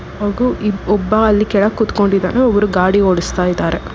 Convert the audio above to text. ಮಗು ಇಬ್- ಒಬ್ಬ ಅಲ್ಲಿ ಕೆಳಗ್ ಕೂತ್ಕೊಂಡಿದ್ದಾನೆ ಒಬ್ರು ಗಾಡಿ ಓಡುಸ್ತಾ ಇದಾರೆ.